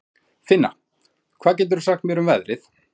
Finna, hvað geturðu sagt mér um veðrið?